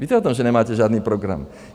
Víte o tom, že nemáte žádný program?